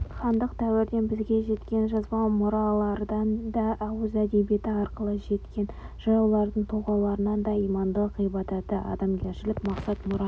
хандық дәуірден бізге жеткен жазба мұралардан да ауыз әдебиеті арқылы жеткен жыраулардың толғауларынан да имандылық ғибраты адамгершілік мақсат-мұраты